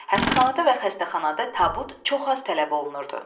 Həbsxanada və xəstəxanada tabut çox az tələb olunurdu.